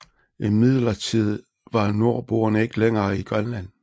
Imidlertid var nordboerne ikke længere i Grønland